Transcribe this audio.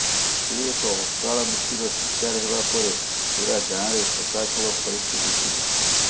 ସେ ଏକ ଅକାଳ ମୃତ୍ୟୁର ଶିକାର ହେବା ପରେ ପୂରା ଗାଁରେ ଶୋକାକୁଳ ପରିସ୍ଥିତି ଉପୁଜିଛି